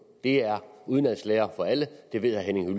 det er udenadslære for alle og det ved herre henning